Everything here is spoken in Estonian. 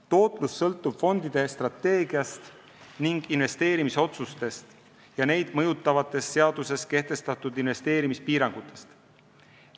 Tootlus sõltub fondide strateegiast ning investeerimisotsustest ja neid mõjutavatest seaduses kehtestatud investeerimispiirangutest.